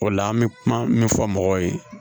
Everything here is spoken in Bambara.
O la an bɛ kuma min fɔ mɔgɔw ye